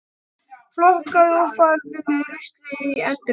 Flokkaðu og farðu með rusl í endurvinnslu.